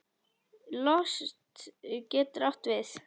Lost getur átt við